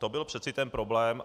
To byl přece ten problém.